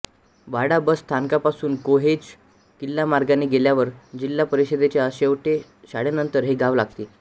वाडा bus स्थानकापासून कोहोज किल्ला मार्गाने गेल्यावर जिल्हा परिषदेच्या शेळटे शाळेनंतर हे गाव लागते